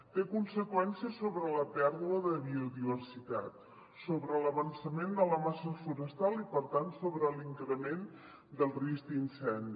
té conseqüències sobre la pèrdua de biodiversitat sobre l’avançament de la massa forestal i per tant sobre l’increment del risc d’incendi